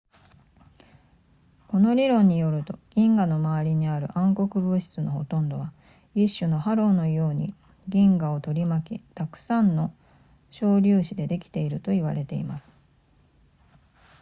この理論によると銀河の周りにある暗黒物質のほとんどは一種のハローのように銀河を取り巻きたくさんの小粒子でできていると言われています